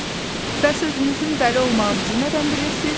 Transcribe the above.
Bəs özünüzün dəli olmağınızı nədən bilirsiz?